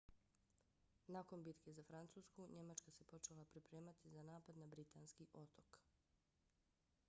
nakon bitke za francusku njemačka se počela pripremati za napad na britanski otok